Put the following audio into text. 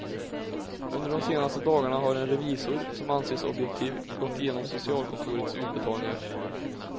Under de senaste dagarna har en revisor, som anses objektiv, gått igenom socialkontorets utbetalningar.